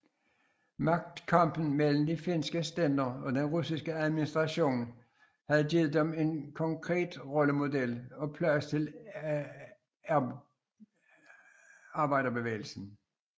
Magtkampen mellem de finske stænder og den russiske administration havde givet dem en konkret rollemodel og plads til arbejderbevægelsen